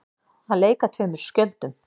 Að leika tveimur skjöldum